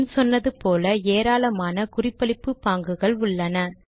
முன் சொன்னது போல ஏராளமான குறிப்பளிப்பு பாங்குகள் உள்ளன